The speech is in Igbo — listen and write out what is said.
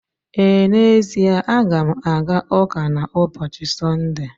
Ee, n'ezie a ga m aga ụka na n'ụbọchị Sọnde.